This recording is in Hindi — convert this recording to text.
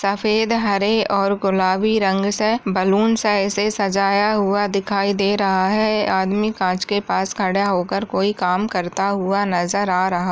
सफेद हरे और गुलाबी रंग से बैलून से सजाया हुआ दिखाई दे रहा है आदमी कांच के पास खड़ा होकर कोई काम करता हुआ नज़र आ रहा ।